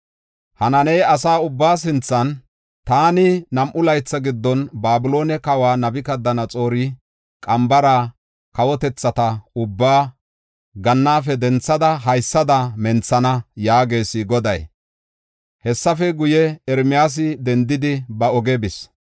Hanaani asa ubbaa sinthan, “Taani nam7u laytha giddon Babiloone kawa Nabukadanaxoora qambara kawotethata ubbaa gannaafe denthada haysada menthana” yaagees Goday. Hessafe guye, Ermiyaasi dendidi, ba ogiya bis.